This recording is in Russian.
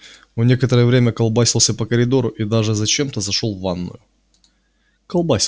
он некоторое время колбасился по коридору и даже зачем-то зашёл в ванную